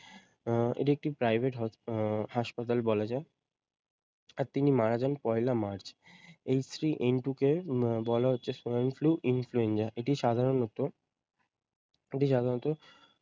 আহ এটি একটি প্রাইভেট হস আহ হাসপাতাল বলা যাই। আর তিনি মার যান পহেলা March. H three N two কে উম বলা হচ্ছে swine flu influenza এটি সাধারণত এটি সাধারণত